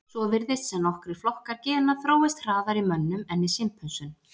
Svo virðist sem nokkrir flokkar gena þróist hraðar í mönnum en í simpönsum.